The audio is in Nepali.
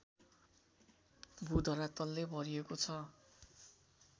भूधरातलले भरिएको छ